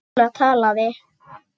Lúna talaði: